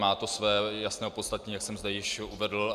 Má to své jasné opodstatnění, jak jsem zde již uvedl.